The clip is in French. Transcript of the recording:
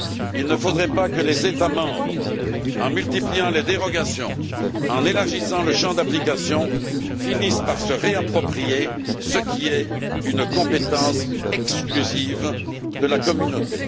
Il ne faudrait pas que les États membres, en multipliant les dérogations, en élargissant le champ d'application, finissent par se réapproprier ce qui est une compétence exclusive de la Communauté.